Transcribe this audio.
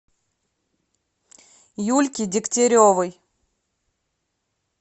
юльке дегтяревой